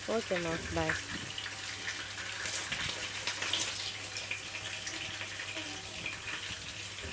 okay ம்மா bye